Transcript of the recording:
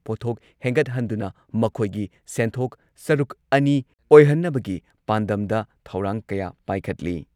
ꯄꯣꯠꯊꯣꯛ ꯍꯦꯟꯒꯠꯍꯟꯗꯨꯅ ꯃꯈꯣꯏꯒꯤ ꯁꯦꯟꯊꯣꯛ ꯁꯔꯨꯛ ꯑꯅꯤ ꯑꯣꯏꯍꯟꯅꯕꯒꯤ ꯄꯥꯟꯗꯝꯗ ꯊꯧꯔꯥꯡ ꯀꯌꯥ ꯄꯥꯏꯈꯠꯂꯤ